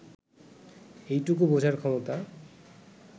এইটুকু বোঝার ক্ষমতা